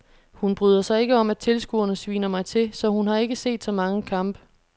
Hun bryder sig ikke om at tilskuerne sviner mig til, så hun har ikke set så mange kampe.